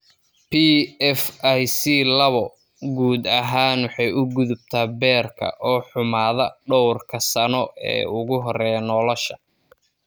PFIC lawoo guud ahaan waxay u gudubtaa beerka oo xumaada dhowrka sano ee ugu horreeya nolosha.